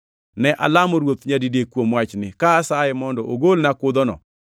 Ne alamo Ruoth nyadidek kuom wachni, ka asaye mondo ogolna kudhono;